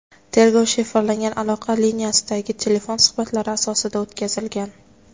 Tergov shifrlangan aloqa liniyasidagi telefon suhbatlari asosida o‘tkazilgan.